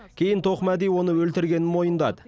кейін тоқмәди оны өлтіргенін мойындады